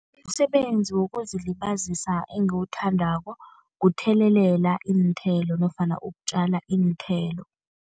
Umsebenzi wokuzilibazisa engiwuthandako kuthelelela iinthelo nofana ukutjala iinthelo.